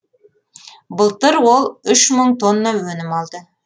былтыр ол үш мың тонна өнім алды